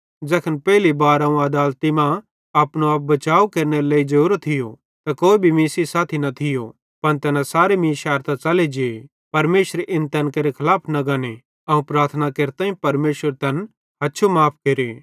ज़ैखन पेइले बार अवं आदालती मां अपनो आप बचाव केरनेरे लेइ जोरो थियो त कोई भी मीं सेइं साथी न थियो पन तैना सारे मीं शैरतां च़ले जे परमेशर इन तैन केरे खलाफ न गने अवं प्रार्थना केरताईं परमेशर तैन हछु माफ़ केरे